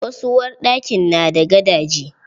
Wasu uwarɗakin na da gadaje.